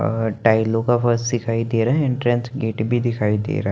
अ टाइलो का फ़र्स दिखाई दे रहा हे इंट्रेंस गेट भी दिखाई दे रहा हैं।